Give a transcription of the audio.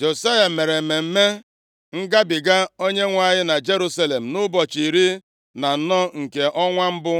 Josaya mere Mmemme Ngabiga Onyenwe anyị na Jerusalem nʼụbọchị iri na anọ nke ọnwa mbụ